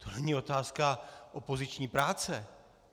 To není otázka opoziční práce.